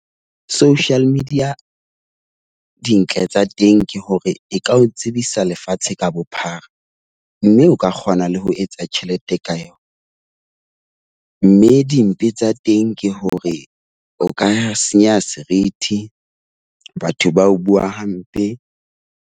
Social media, dintle tsa teng ke hore e ka o tsebisa lefatshe ka bophara, mme o ka kgona le ho etsa tjhelete ka yona. Mme dimpe tsa teng ke hore o ka senyeha serithi, batho ba o bua hampe.